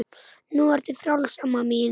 Nú ertu frjáls amma mín.